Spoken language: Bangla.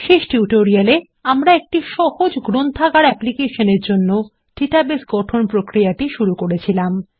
শেষ টিউটোরিয়ালে আমরা একটি সহজ গ্রন্থাগার অ্যাপ্লিকেশনের জন্য ডাটাবেস গঠন প্রক্রিয়াটি শুরু করেছিলাম